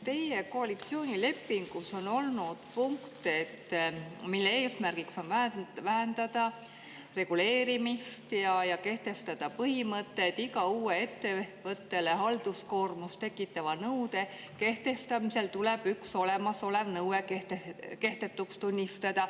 Teie koalitsioonilepingus on olnud punkt, mille järgi eesmärk on vähendada reguleerimist ja kehtestada põhimõte, et iga uue ettevõttele halduskoormust tekitava nõude kehtestamisel tuleb üks olemasolev nõue kehtetuks tunnistada.